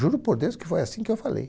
Juro por Deus que foi assim que eu falei.